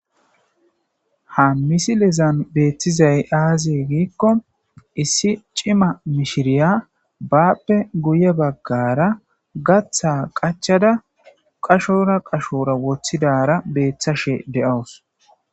ha misilezan beeththizay aazie giikko issi cima mishiriya baappe guye baggara gaththa qachada qashora qashora wothidara beeththashe de7awus